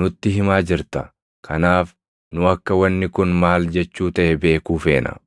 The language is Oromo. nutti himaa jirta; kanaaf nu akka wanni kun maal jechuu taʼe beekuu feena.”